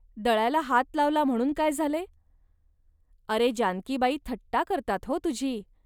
दळायला हात लावला, म्हणून काय झाले. अरे जानकीबाई थट्टा करतात हो तुझी